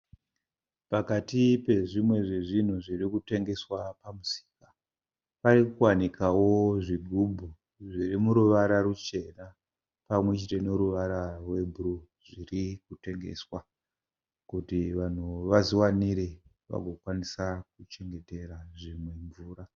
Pakati pezvimwe zvezvinhu zvirikutengeswa pamusika parikuwanikawo zvigubhu zvirimuruvara ruchena pamwechete neruvara rwebhuruu. Zvirikutengeswa kuti vanhu vazviwanire vagokwanisa kuchengetera zvinhu mvura.